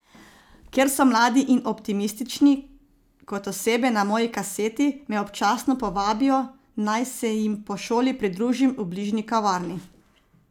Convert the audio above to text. Ker so mladi in optimistični kot osebe na moji kaseti, me občasno povabijo, naj se jim po šoli pridružim v bližnji kavarni.